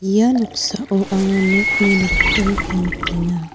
ia noksao anga nokni nokdringko nikenga.